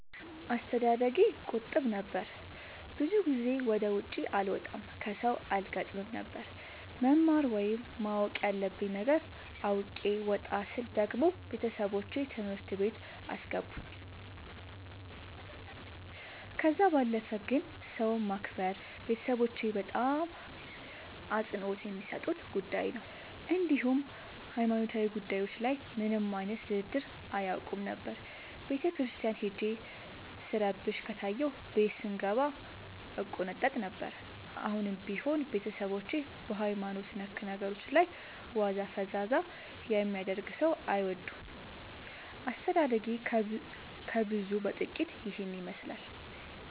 አስተዳደጌ ቁጥብ ነበር። ብዙ ጊዜ ወደ ውጪ አልወጣም ከሠው አልገጥምም ነበር። መማር ወይም ማወቅ ያለብኝ ነገር አውቄ ወጣ ስል ደግሞ ቤተሠቦቼ ትምህርት ቤት አስገቡኝ። ከዛ ባለፈ ግን ሰው ማክበር ቤተሠቦቼ በጣም አፅንኦት የሚሠጡት ጉዳይ ነበር። እንዲሁም ሀይማኖታዊ ጉዳዮች ላይ ምንም አይነት ድርድር አያውቁም ነበር። ቤተክርስቲያን ሄጄ ስረብሽ ከታየሁ ቤት ስንገባ እቆነጠጥ ነበር። አሁንም ቢሆን ቤተሠቦቼ በሀይማኖት ነክ ነገሮች ላይ ዋዛ ፈዛዛ የሚያደርግ ሠው አይወዱም። አስተዳደጌ ከብዙው በጥቂቱ ይህን ይመሥላል።